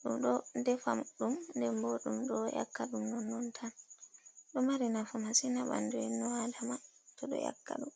ɗum ɗo defa ɗum, dembo dum ɗo,, 'yakka ɗum non non tan. doe mari nafu masin ha ɓandu enno adama to ɗo, 'yakka ɗum.